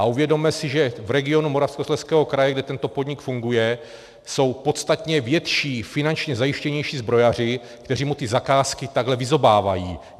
A uvědomme si, že v regionu Moravskoslezského kraje, kde tento podnik funguje, jsou podstatně větší, finančně zajištěnější zbrojaři, kteří mu ty zakázky takhle vyzobávají.